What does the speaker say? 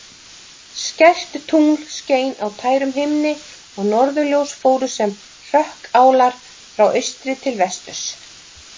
Skært tungl skein á tærum himni og norðurljós fóru sem hrökkálar frá austri til vesturs.